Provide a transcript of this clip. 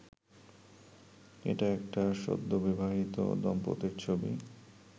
এটা একটা সদ্যবিবাহিত দম্পতির ছবি